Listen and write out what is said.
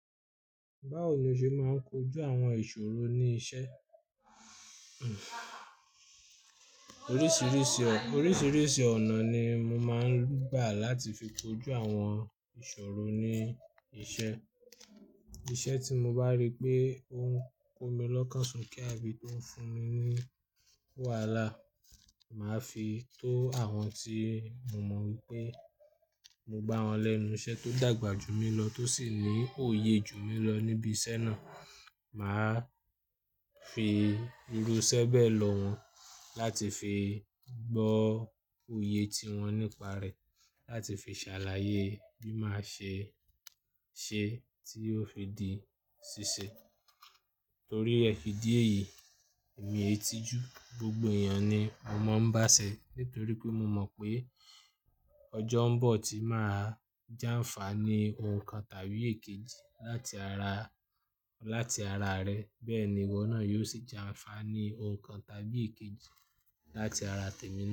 Báwo ni o ṣe máa ń kojú àwọn ìṣòro ní iṣẹ́? Oríṣiríṣi ọ-- oríṣiríṣi ọ̀nà ni mo máa ń gbà láti fi kojú àwọn ìṣòro ní iṣẹ́. Iṣẹ́ tí mo bá rí pé ó ń ko mi lọ́kànṣó ke àbí tó ń fún mi ní wàhálà, mà á fi tó àwọn tí o mọ̀ wípé mo bá wọn lẹ́nu iṣẹ́ tó dàgbà jù mí lọ tó sì ní òye jù mí lọ níbi iṣẹ́ náà. Mà á fi irú 'ṣẹ́bẹ̀ lọ wọ́n láti fi gbọ́ òye tí wọ́n nípa rẹ̀, láti fi ṣàlàyé bí máa ṣe ṣe tí ó fi di ṣíṣe. Torí ẹ idi é yìí, mi ètìjú gbogbo èèyàn ni mo máa ń bá ṣẹ̀ nítorí pé mo mọ̀ pé ọjọ́ ń bọ̀ tí mà á jàǹfà ní ohun kan tàbí èkejì láti ara, láti ara rẹ. Bẹ́ẹ̀ ni ìwọ náà yóò sì jàǹfà ní ohun kan tàbí èkejì láti ara tèmi na.